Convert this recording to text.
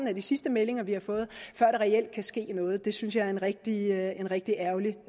er de sidste meldinger vi har fået før der reelt kan ske noget det synes jeg er en rigtig rigtig ærgerlig